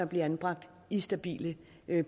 bliver anbragt i stabile